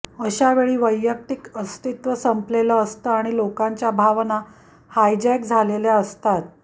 अशा वेळी वैयक्तिक अस्तित्व संपलेलं असतं आणि लोकांच्या भावना हायजॅक झालेल्या असतात